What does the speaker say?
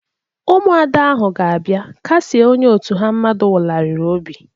Ụmụada ahụ ga-abia kasie onye òtù ha mmadu nwularịrị obi.